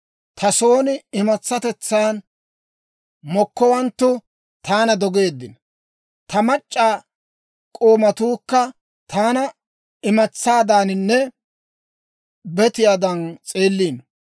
Ta son imatsatetsaan mokkowanttu taana dogeeddino; ta mac'c'a k'oomatuukka taana imatsaadaaninne betiyaadan s'eelliino.